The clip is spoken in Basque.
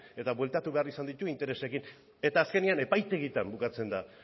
eta bueltatu behar izan ditu interesekin eta azkenean epaitegietan bukatzen da